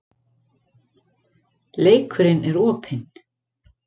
Leikurinn er opinn